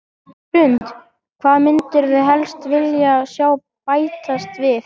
Hrund: Hvað myndirðu helst vilja sjá bætast við?